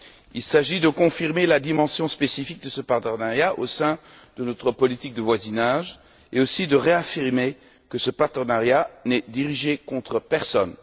Il s'agit de confirmer la dimension spécifique de ce partenariat au sein de notre politique de voisinage, mais aussi de réaffirmer que ce partenariat n'est dirigé contre personne.